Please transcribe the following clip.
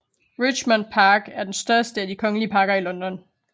Richmond Park er den største af de kongelige parker i London